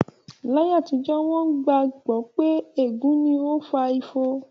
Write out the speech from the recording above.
Ní ayé àtijó, wón gbà gbọ́ pé ègún ni ó fa ifo